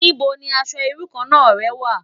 Nibó ni aṣò irú kàn rè wá?